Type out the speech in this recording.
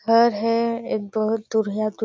घर हे एकदम दूरिहा-दूरिहा--